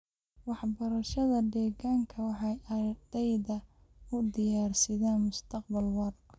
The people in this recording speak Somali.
Waxbarashada deegaanka waxay ardayda u diyaarisaa mustaqbal waara.